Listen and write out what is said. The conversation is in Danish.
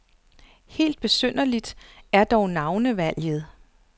Helt besynderligt er dog navnevalget.